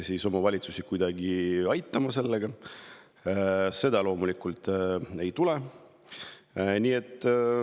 Aga seda loomulikult ei tule.